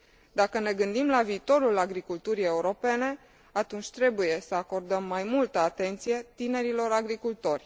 Dacă ne gândim la viitorul agriculturii europene, atunci trebuie să acordăm mai multă atenție tinerilor agricultori.